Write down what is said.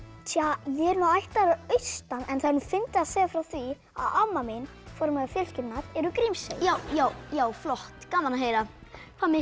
ég er ættaður að austan en það er fyndið að segja frá því að amma mín formóðir fjölskyldunnar er úr Grímsey já já já flott gaman að heyra hvað með ykkur